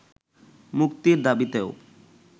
মুক্তির দাবিতেও